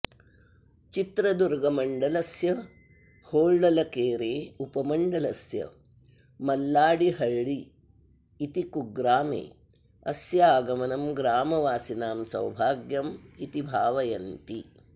चित्रदुर्गमण्डलस्य होळल्केरे उपमण्डलस्य मल्लाडिहळ्ळि इति कुग्रामे अस्य आगमनं ग्रामवासिनां सौभाग्यम् इति भावयन्ति